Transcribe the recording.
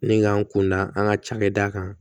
Ni k'an kun da an ka cakɛda kan